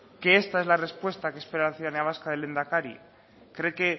que esta es la respuesta que espera la ciudadanía vasca del lehendakari cree que